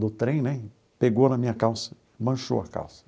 do trem né, pegou na minha calça, manchou a calça.